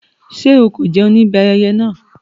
Ṣé o kò jẹun níbi ayẹyẹ náà?